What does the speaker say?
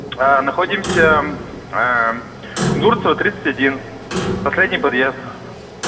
находимся кунгурцева тридцать один последний подъезд